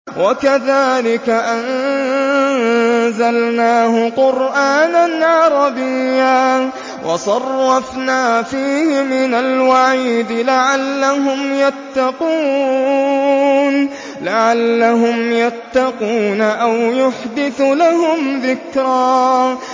وَكَذَٰلِكَ أَنزَلْنَاهُ قُرْآنًا عَرَبِيًّا وَصَرَّفْنَا فِيهِ مِنَ الْوَعِيدِ لَعَلَّهُمْ يَتَّقُونَ أَوْ يُحْدِثُ لَهُمْ ذِكْرًا